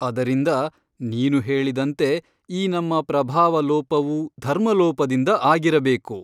ಅದರಿಂದ ನೀನು ಹೇಳಿದಂತೆ ಈ ನಮ್ಮ ಪ್ರಭಾವಲೋಪವು ಧರ್ಮಲೋಪದಿಂದ ಆಗಿರಬೇಕು.